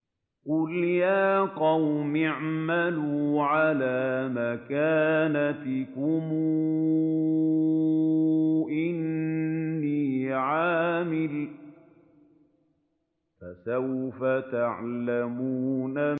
قُلْ يَا قَوْمِ اعْمَلُوا عَلَىٰ مَكَانَتِكُمْ إِنِّي عَامِلٌ ۖ فَسَوْفَ تَعْلَمُونَ